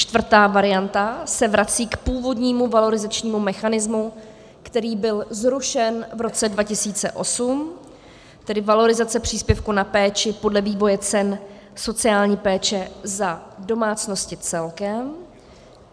Čtvrtá varianta se vrací k původnímu valorizačnímu mechanismu, který byl zrušen v roce 2008, tedy valorizace příspěvku na péči podle vývoje cen sociální péče za domácnosti celkem.